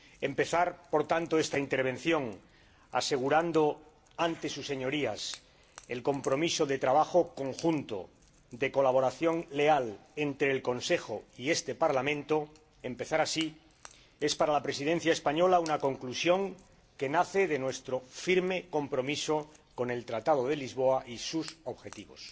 Empezar, por tanto, esta intervención asegurando ante sus Señorías el compromiso de trabajo conjunto, de colaboración leal, entre el Consejo y este Parlamento, es para la Presidencia española una conclusión que nace de nuestro firme compromiso con el Tratado de Lisboa y sus objetivos.